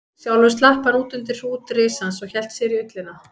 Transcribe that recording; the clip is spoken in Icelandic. Sjálfur slapp hann út undir hrút risans og hélt sér í ullina.